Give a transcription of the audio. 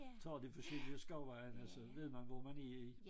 Tager de forskellige skovvejene så ved man hvor man i